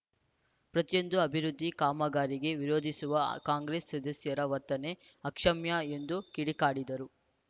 ಪ್ರತಿಯೊಂದು ಅಭಿವೃದ್ಧಿ ಕಾಮಗಾರಿಗೆ ವಿರೋಧಿಸುವ ಕಾಂಗ್ರೆಸ್‌ ಅ ಸದಸ್ಯರ ವರ್ತನೆ ಅಕ್ಷಮ್ಯ ಎಂದು ಕಿಡಿಕಾರಿದರು